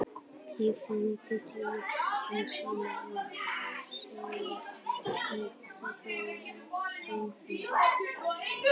Í flýti tíni ég saman orð: Sæll Helgi, gaman að sjá þig